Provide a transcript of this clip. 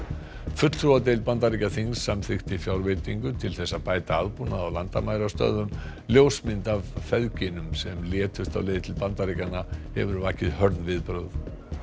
fulltrúadeild Bandaríkjaþings samþykkti fjárveitingu til þess að bæta aðbúnað á landamærastöðvum ljósmynd af feðginum sem létust á leið til Bandaríkjanna hefur vakið hörð viðbrögð